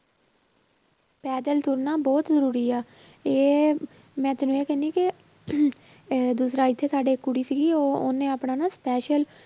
ਪੈਦਲ ਤੁਰਨਾ ਬਹੁਤ ਜ਼ਰੂਰੀ ਆ ਇਹ ਮੈਂ ਤੈਨੂੰ ਇਹ ਕਹਿਨੀ ਕਿ ਇਹ ਦੂਸਰਾ ਇੱਥੇ ਸਾਡੇ ਇੱਕ ਕੁੜੀ ਸੀਗੀ ਉਹ ਉਹਨੇ ਆਪਣਾ ਨਾ special